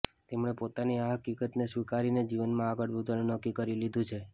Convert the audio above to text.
તેમણે પોતાની આ હકીકતને સ્વિકારીને જીવનમાં આગળ વધવાનું નક્કી કરી લીધું છે